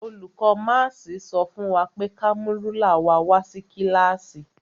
Olùkó máàsì sọ fún wa pé ka mú rúlà wa wá sí kílàsì.